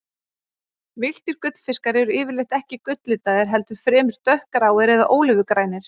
Villtir gullfiskar eru yfirleitt ekki gulllitaðir, heldur fremur dökkgráir eða ólífugrænir.